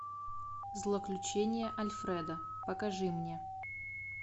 злоключения альфреда покажи мне